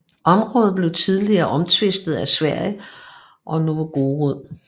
Området blev tidligt omtvistet af Sverige og Novgorod